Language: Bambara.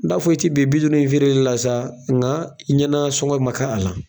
N d'a fɔ, i ti bin bi duuru in feereli la sa, nka i ɲɛna sɔngɔ ma k'a a la.